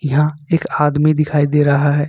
यहां एक आदमी दिखाई दे रहा है।